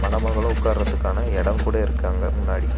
அவங்களும் உக்காரதுக்கான இடம் கூட இருக்கு அங்க முன்னாடி.